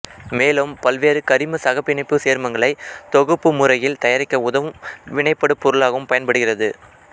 மேலும் பல்வேறு கரிமச் சகப்பிணைப்புச் சேர்மங்களை தொகுப்பு முறையில் தயாரிக்க உதவும் வினைபடு பொருளாகவும் பயன்படுகிறது